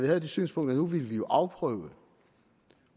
havde det synspunkt at nu ville vi afprøve